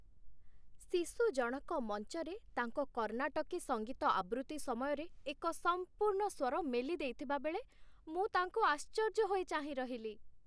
ଶିଶୁଜଣକ ମଞ୍ଚରେ ତାଙ୍କ କର୍ଣ୍ଣାଟକୀ ସଙ୍ଗୀତ ଆବୃତ୍ତି ସମୟରେ ଏକ ସମ୍ପୂର୍ଣ୍ଣ ସ୍ୱର ମେଲିଦେଇଥିବାବେଳେ ମୁଁ ତାଙ୍କୁ ଆଶ୍ଚର୍ଯ୍ୟ ହୋଇ ଚାହିଁରହିଲି